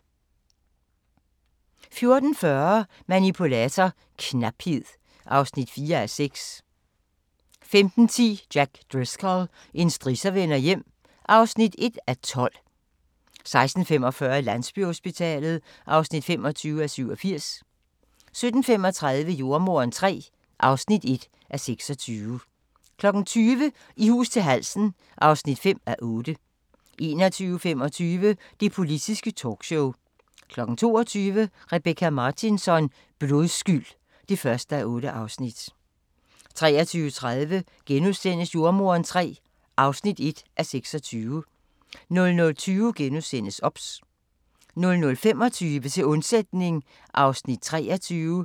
14:40: Manipulator - knaphed (4:6) 15:10: Jack Driscoll – en strisser vender hjem (1:12) 16:45: Landsbyhospitalet (25:87) 17:35: Jordemoderen III (1:26) 20:00: I hus til halsen (5:8) 21:25: Det politiske talkshow 22:00: Rebecka Martinsson: Blodskyld (1:8) 23:30: Jordemoderen III (1:26)* 00:20: OBS * 00:25: Til undsætning (23:48)